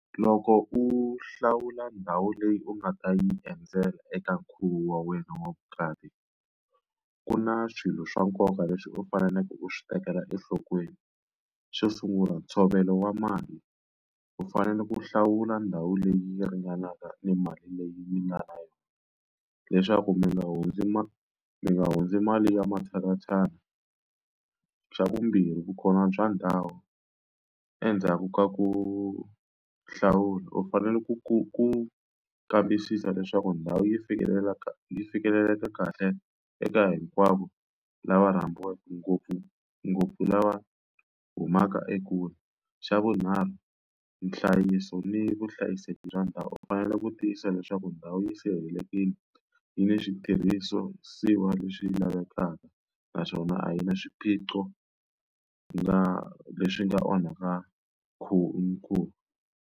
Loko u hlawula ndhawu leyi u nga ta yi endzela eka nkhuvo wa wena wa vukati, ku na swilo swa nkoka leswi u faneleke u swi tekela enhlokweni. Xo sungula ntshovelo wa mali. U fanele ku hlawula ndhawu leyi yi ringanaka ni mali leyi mi nga na yona leswaku mi nga hundzi mi nga hundzi mali ya matshalatshala. Xa vumbirhi vukona bya ndhawu, endzhaku ka ku hlawula u fanele ku ku ku kambisisa leswaku ndhawu yi yi fikeleleka kahle eka hinkwavo lava rhambiweke ngopfungopfu lava humaka ekule. Xa vunharhu nhlayiso ni vuhlayiseki bya ndhawu. U fanele ku tiyisisa leswaku ndhawu yi sirhelelekile, yi ni switirhisiwa leswi lavekaka naswona a yi na swiphiqo leswi nga onhaka nkhuvo.